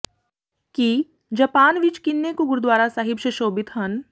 ਕੀ Japan ਵਿਚ ਕਿੰਨੇ ਕੁ ਗੁਰਦੁਆਰਾ ਸਾਹਿਬ ਸ਼ਸ਼ੋਭਿਤ ਹਨ